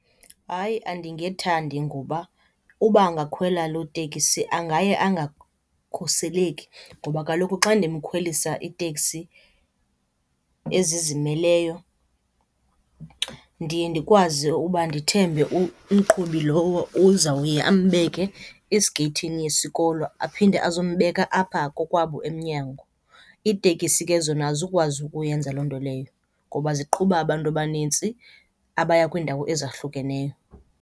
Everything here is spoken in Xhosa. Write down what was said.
Hayi, andingethandi ngoba uba angakhwela lo tekisi angaye angakhuseleki ngoba kaloku xa ndimkhwelisa iteksi ezizimeleyo ndiye ndikwazi uba ndithembe umqhubi lowo uzawuye ambeke esigeyithini yesikolo aphinde ezombeka apha kokwabo emnyango. Iitekisi ke zona azukwazi ukuyenza loo nto leyo ngoba ziqhuba abantu abanintsi abaya kwiindawo ezahlukeneyo.